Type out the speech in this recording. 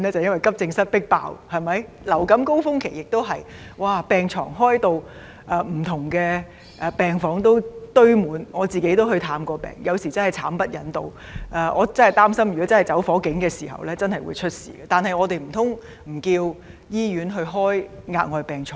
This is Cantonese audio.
因為急症室"迫爆"，流感高峰期亦是如此，不同病房均堆滿病床，我也曾前往探病，真的感到慘不忍睹，擔心一旦發生火警時會橫生意外，但難道可以不容許醫院加開額外病床嗎？